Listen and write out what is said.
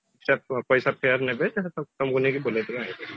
ସେ ପଇସା fair ନେବେ ତମକୁ ନେଇକି ବୁଲେଇଦେବେ